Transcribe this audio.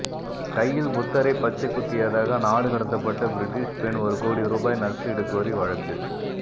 கையில் புத்தரை பச்சை குத்தியதாக நாடு கடத்தப்பட்ட பிரிட்டிஷ் பெண் ஒரு கோடி ரூபாய் நஷ்டஈடு கோரி வழக்கு